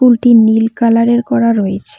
School -টি নীল কালারের করা রয়েছে।